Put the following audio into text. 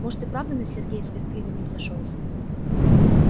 может и правда на сергее свет клином не сошёлся